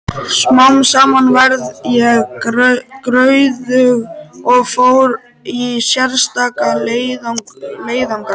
Smám saman varð ég gráðug og fór í sérstaka leiðangra.